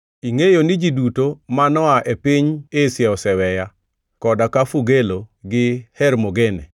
Ingʼeyo ni ji duto ma noa e piny Asia oseweya, koda ka Fugelo gi Hermogene.